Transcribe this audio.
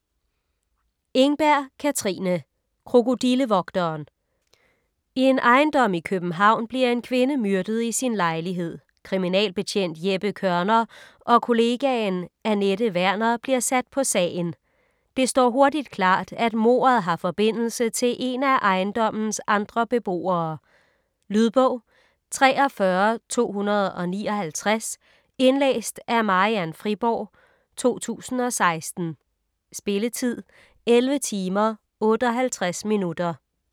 Engberg, Katrine: Krokodillevogteren I en ejendom i København bliver en kvinde myrdet i sin lejlighed. Kriminalbetjent Jeppe Kørner og kollegaen Anette Werner bliver sat på sagen. Det står hurtigt klart, at mordet har forbindelse til en af ejendommens andre beboere. Lydbog 43259 Indlæst af Marian Friborg, 2016. Spilletid: 11 timer, 58 minutter.